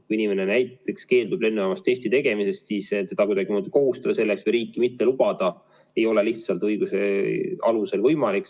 Kui inimene keeldub lennujaamas testi tegemisest, siis teda kuidagimoodi kohustada selleks või riiki mitte lubada ei ole lihtsalt õiguse alusel võimalik.